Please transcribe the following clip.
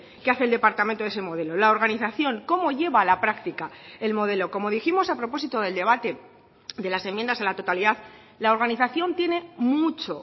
que hace el departamento de ese modelo la organización cómo lleva a la práctica el modelo como dijimos a propósito del debate de las enmiendas a la totalidad la organización tiene mucho